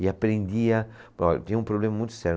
e aprendia... oh, tinha um problema muito sério.